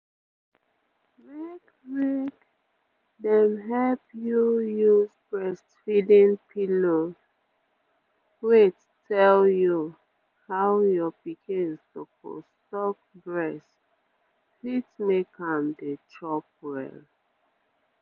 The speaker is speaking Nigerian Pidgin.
make make dem help you use breastfeeding pillows wait tell you how your pikin suppose suck breast fit make am dey chop well